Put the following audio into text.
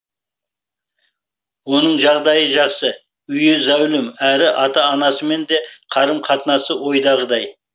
оның жағдайы жақсы үйі зәулім әрі ата анасымен де қарым қатынасы ойдағыдай